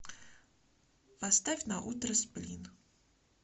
поставь на утро сплин